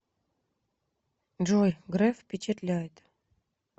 джой греф впечатляет